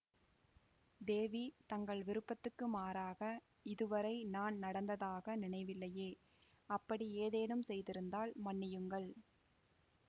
தேவி தங்கள் விருப்பத்துக்கு மாறாக இதுவரை நான் நடந்ததாக நினைவில்லையே அப்படி ஏதேனும் செய்திருந்தால் மன்னியுங்கள்